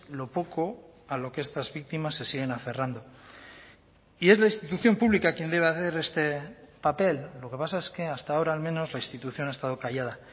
lo poco a lo que estas víctimas se siguen aferrando y es la institución pública quien debe hacer este papel lo que pasa es que hasta ahora al menos la institución ha estado callada